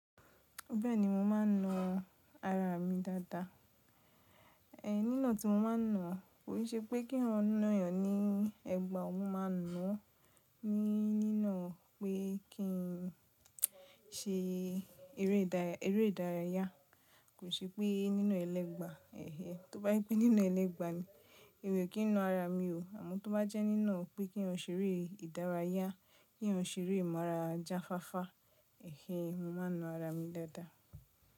Bẹ́ẹ̀ni, mo máa ń na ara mi dáadáa. Nínà tí mo máa ń nà kò ṣe pé kí n ran nà yàn ní ẹ̀gbà ọwọ́ máa na ni nínà pé kí n ṣe eré ìdárayá. Kò ṣe pé nína ẹlẹ́gbà. Tóbá je pé nína ẹlẹ́gbà ni, èmì o kí n na ara mi ò. Àmọ́ tó bá jẹ́ nínà pé kí n ṣe eré ìdárayá, kí eyan ṣe eré imú ara jáfáfá, mo máa n na ara mi dáadáa.